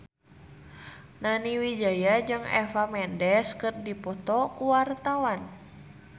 Nani Wijaya jeung Eva Mendes keur dipoto ku wartawan